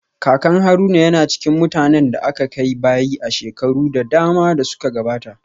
Kakan Haruna yana cikin mutanen da aka kai bayi a shekaru da dama da suka gabata